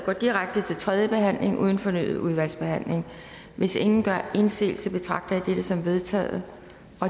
går direkte til tredje behandling uden fornyet udvalgsbehandling hvis ingen gør indsigelse betragter jeg dette som vedtaget